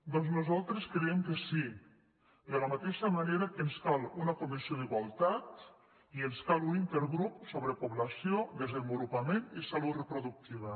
doncs nosaltres creiem que sí de la mateixa manera que ens cal una comissió d’igual·tat i ens cal un intergrup sobre població desenvolupa·ment i salut reproductiva